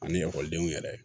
Ani ekɔlidenw yɛrɛ